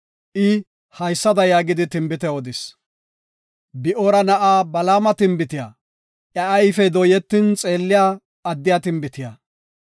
I haysada yaagidi tinbite odis; “Bi7oora na7aa Balaama tinbitiya; iya ayfey dooyetin xeelliya addiya tinbitiya;